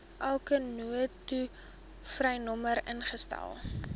enkele noodtolvrynommer ingestel